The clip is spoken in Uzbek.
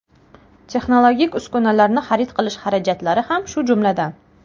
Texnologik uskunalarni xarid qilish xarajatlari ham shu jumladan.